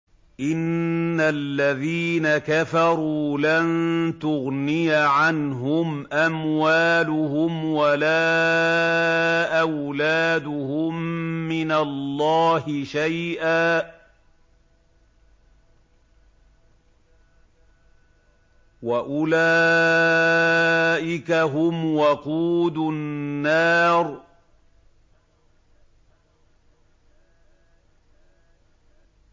إِنَّ الَّذِينَ كَفَرُوا لَن تُغْنِيَ عَنْهُمْ أَمْوَالُهُمْ وَلَا أَوْلَادُهُم مِّنَ اللَّهِ شَيْئًا ۖ وَأُولَٰئِكَ هُمْ وَقُودُ النَّارِ